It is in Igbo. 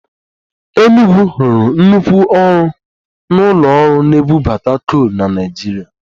Enugwu rụrụ nnukwu ọrụ n'ụlọ ọrụ na-egwupụta kol na Naịjirịa